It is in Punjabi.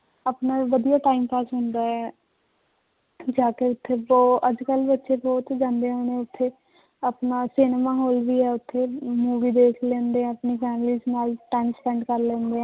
ਆਪਣਾ ਵਧੀਆ time pass ਹੁੰਦਾ ਹੈ ਜਾ ਕੇ ਉੱਥੇ ਅੱਜ ਕੱਲ੍ਹ ਵੀ ਉੱਥੇ ਬਹੁਤ ਜਾਂਦੇ ਹੁਣ ਉੱਥੇ ਆਪਣਾ ਸਿਨੇਮਾ ਹਾਲ ਵੀ ਹੈ ਉੱਥੇ movie ਦੇਖ ਲੈਂਦੇ ਹੈ ਆਪਣੀ families ਨਾਲ time spent ਕਰ ਲੈਂਦੇ ਹੈ